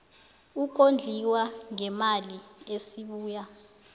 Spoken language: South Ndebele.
ukondliwa ngeemali esibuya